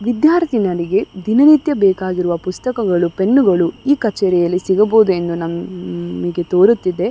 ವಿದ್ಯಾರ್ಥಿಗಳಿಗೆ ದಿನ ನಿತ್ಯ ಬೇಕಾಗಿರುವ ಪುಸ್ತಕಗಳು ಪೆನ್ನುಗಳು ಈ ಕಚೆರಿಯಲ್ಲಿ ಸಿಗಬಹುದು ಎಂದು ಅಹ್ ನಮ್ಗೆ ಹ್ಮ್ಮ್ ತೋರುತಿದೆ --